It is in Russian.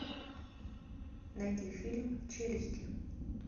найди фильм челюсти